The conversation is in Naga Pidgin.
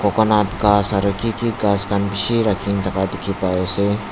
coconut gas aro ki ki gas khan bishi raki kena thaka dikey pai ase.